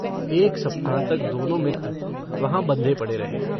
एक सप्ताह तक दोनों मित्र वहाँ बंधे पड़े रहे।